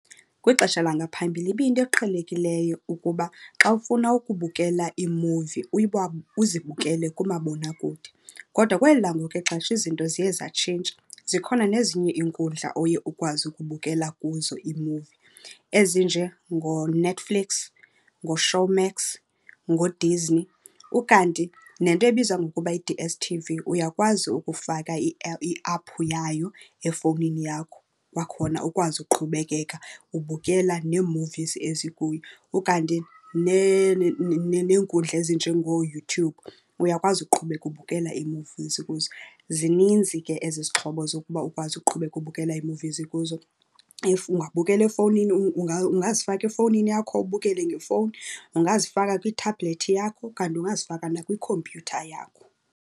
Kwixesha langaphambili ibiyinto eqhelekileyo ukuba xa ufuna ukubukela iimuvi uzibukele kumabonakude. Kodwa kweli langoku ixesha izinto ziye zatshintsha, zikhona nezinye iinkundla oye ukwazi ukubukela kuzo iimuvi ezinjengoNetflix, ngoShowmax, ngoDisney, ukanti nento ebizwa ngokuba yi-D_S_T_V uyakwazi ukufaka iaphu yayo efowunini yakho, kwakhona ukwazi uqhubekeka ubukela nee movies ezikuyo. Ukanti neenkundla ezinjengooYouTube uyakwazi uqhubeka ubukela iimuvizi ezikuzo. Zininzi ke ezi zixhobo zokuba ukwazi uqhubeka ubukela ii-movies kuzo. If ungabukela efowunini, ungazifaka efowunini yakho ubukele ngefowuni, ungazifaka kwithabhulethi yakho kanti ungazifaka nakwikhompyutha yakho.